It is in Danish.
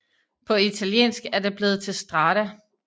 På italiensk er det blevet til strada